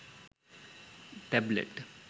tablet